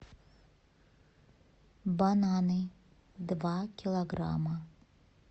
бананы два килограмма